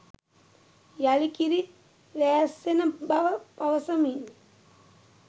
යළි කිරි වෑස්සෙන බව පවසමින්